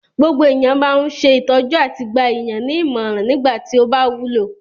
Gbogbo èèyàn máa ń ṣe ìtọ́jú àti gba èèyàn ní ìmọ̀ràn nígbà tí ó bá wúlò